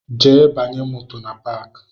Jee banye moto na paki